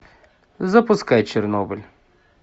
запускай чернобыль